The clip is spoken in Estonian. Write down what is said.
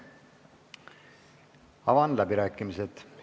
Avan läbirääkimised.